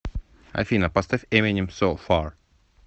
афина поставь эминем соу фар